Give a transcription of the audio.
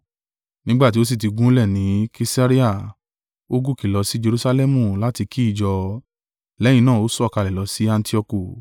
Nígbà tí ó sì tí gúnlẹ̀ ni Kesarea, ó gòkè lọ si Jerusalẹmu láti kí ìjọ, lẹ́yìn náà ó sọ̀kalẹ̀ lọ sí Antioku.